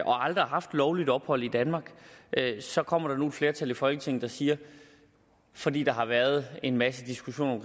og aldrig har haft lovligt ophold i danmark så kommer der nu et flertal i folketinget der siger fordi der har været en masse diskussioner